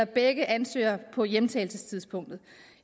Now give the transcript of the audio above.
begge ansøgere på hjemtagelsestidspunktet